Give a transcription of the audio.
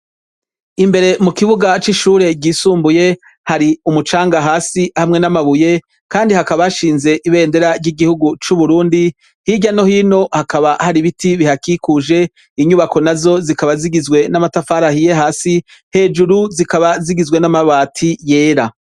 Imbere mu kibuga c'ishure ryisumbuye hari umucanga hasi hamwe n'amabuye kandi hakaba hashinze ibendera ry'igihugu c'Uburundi. Hirya no hino hakaba hari ibiti bihakikuje. Inyubako nazo zikaba zigizwe n'amatafari ahiye hasi; hejuru zikaba zigizwe n'amabati yera.